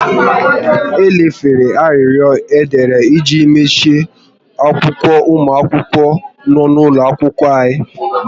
E lefere arịrịọ e dere iji machie akwa ụmụ akwụkwọ n'ụlọ akwụkwọ anya